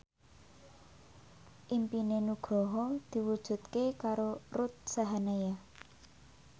impine Nugroho diwujudke karo Ruth Sahanaya